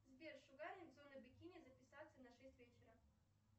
сбер шугаринг зона бикини записаться на шесть вечера